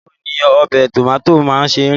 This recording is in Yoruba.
Báwo ni ọbẹ̀ tòmátì náà ṣe rí?